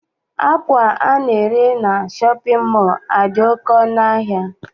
Akwa ana-ere na shọpịn mọọ a dị oké ọnụ ahịa.